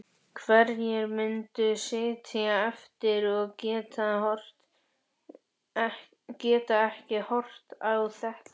Hverjir myndu sitja eftir og gætu ekki horft á þetta?